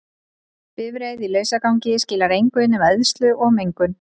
Bifreið í lausagangi skilar engu nema eyðslu og mengun.